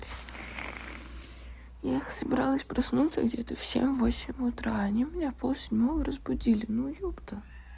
я собиралась проснуться где-то в семь восемь утра они меня пол седьмого разбудили ну ёпта